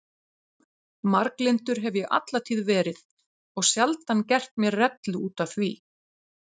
Marglyndur hef ég alla tíð verið og sjaldan gert mér rellu útaf því.